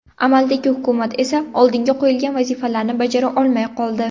Amaldagi hukumat esa oldiga qo‘yilgan vazifalarni bajara olmay qoldi.